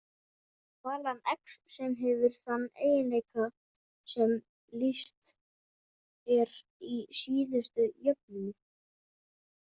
Talan x sem hefur þann eiginleika sem lýst er í síðustu jöfnunni.